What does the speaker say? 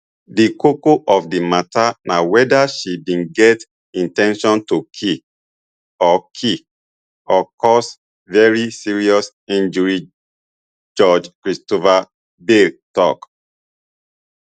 di koko of di mata na weda she bin get in ten tion to kill or kill or cause very serious injury judge christopher beale tok